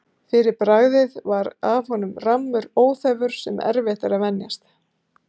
Fyrir bragðið var af honum rammur óþefur, sem erfitt var að venjast.